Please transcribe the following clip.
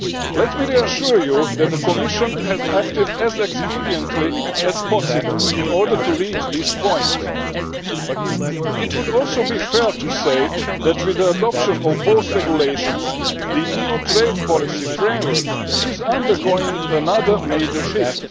Let me assure you that the Commission has acted as expediently as possible in order to reach this point. It would also be fair to say that, with the adoption of both regulations, the EU trade policy framework is undergoing another major shift.